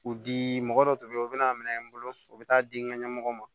U dii mɔgɔ dɔ tun bɛ yen u bɛna'a minɛ n bolo u bɛ taa di n ka ɲɛmɔgɔ ma